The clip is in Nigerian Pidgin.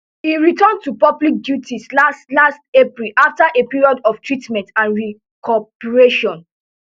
e return to public duties last last april afta a period of treatment and recuperation